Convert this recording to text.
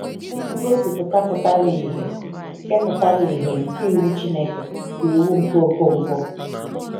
Ngosipụta pụtara ìhè nke pụtara ìhè nke iwu Chineke bụ Iwu nke Okonkwo.